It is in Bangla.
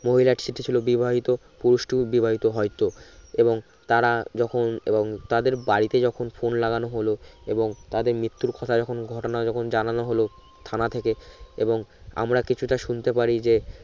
মহিলার সেটি ছিলো বিবাহিত পুরুষটি ও বিবাহিত হয়তো এবং তারা যখন এবং তাদের বাড়িতে যখন phone লাগানো হল এবং তাদের মৃত্যু কথা যখন ঘটনা যখন যানানো হল থানা থেকে এবং আমরা কিছুটা শুনতে পারি যে